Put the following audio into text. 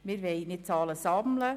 Wir wollen nicht Zahlen sammeln.